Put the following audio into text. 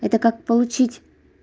это как получить